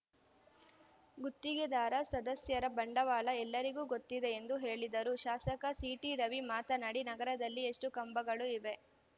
ಗುತ್ತಿಗೆದಾರ ಸದಸ್ಯರ ಬಂಡವಾಳ ಎಲ್ಲರಿಗೂ ಗೊತ್ತಿದೆ ಎಂದು ಹೇಳಿದರು ಶಾಸಕ ಸಿಟಿ ರವಿ ಮಾತನಾಡಿ ನಗರದಲ್ಲಿ ಎಷ್ಟುಕಂಬಗಳು ಇವೆ